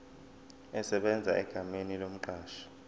esebenza egameni lomqashi